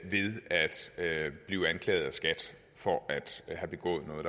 blive anklaget af skat for at have begået noget